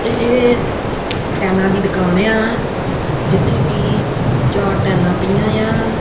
ਇਹ ਟੇਲਾਂ ਦੀ ਦੁਕਾਨ ਆ ਜਿੱਥੇ ਕਿ ਚਾਰ ਟਾਈਲਾਂ ਪਈਆਂ ਆ।